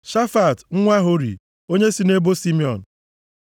Shafat nwa Hori, onye si nʼebo Simiọn.